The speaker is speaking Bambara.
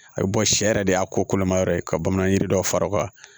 A bɛ bɔ sɛ yɛrɛ de y'a kolomayɔrɔ ye ka bamanan yiri dɔw fara o kan